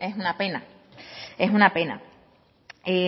es una pena es una pena